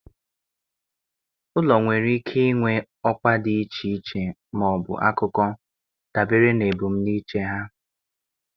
Ụlọ nwere ike inwe ọkwa dị iche iche ma ọ bụ akụkọ, dabere na ebumnuche ha